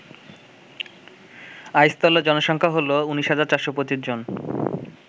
আইসতলার জনসংখ্যা হল ১৯,৪২৫ জন